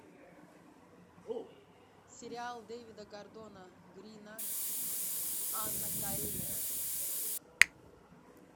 сериал дэвида гордона грина анна каренина